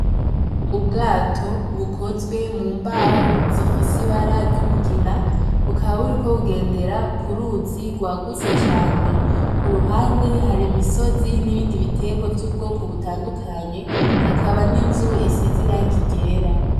Ubwato bukozwe mumbaho zifise ibara ry'umugina bukaba buriko bugendera kuruzi rwagutse cane kuruhande hari imisozi n’ibindi bitegwa by'ubwoko butandukanye hakaba n'inzu isize irangi ryera.